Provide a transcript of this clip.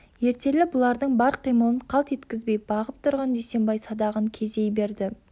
ертелі бұлардың бар қимылын қалт еткізбей бағып тұрған дүйсенбай садағын кезей берді